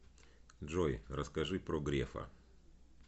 джой расскажи про грефа